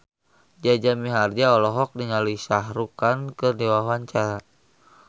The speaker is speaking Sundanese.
Jaja Mihardja olohok ningali Shah Rukh Khan keur diwawancara